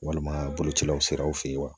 Walima bolocilaw siraw fɛ yen wa